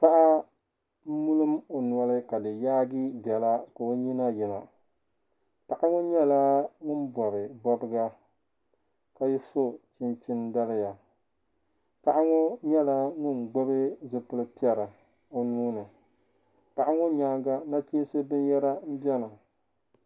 Paɣa n mum ɔnɔli ka di yaagi bela ka ɔ nyina yina, paɣa ŋɔ nyala ŋun bɔbi bɔbiga ka so chinchini. daliya paɣa ŋɔ nyɛla ŋun gbubi zipili pɛri ɔnuuni paɣa ŋɔ nyaa, ŋa na chinsi bin yara n beni,